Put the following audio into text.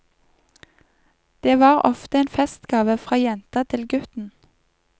Det var ofte en festgave fra jenta til gutten.